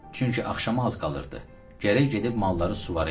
Çünki axşama az qalırdı, gərək gedib malları suvara idi.